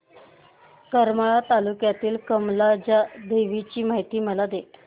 करमाळा तालुक्यातील कमलजा देवीची मला माहिती दे